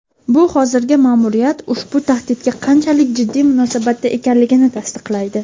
bu hozirgi ma’muriyat ushbu tahdidga qanchalik jiddiy munosabatda ekanligini tasdiqlaydi.